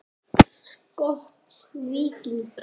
Skot: Víking.